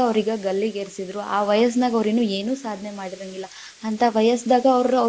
ಅವ್ರೀಗೆ ಗಲ್ಲಿಗೇರ್ಸಿದ್ರು, ಆ ವಯಸ್ಸನಾಗ ಅವ್ರ್ ಇನ್ನು ಏನು ಸಾಧನೆ ಮಾಡಿರಂಗಿಲ್ಲ ಅಂತಾ ವಯಸ್ಸದಾಗ ಅವ್ರು.